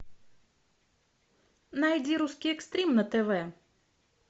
найди русский экстрим на тв